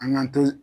An k'an to